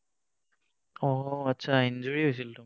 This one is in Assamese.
অ, আচ্ছা, injury হৈছিল তোমাৰ?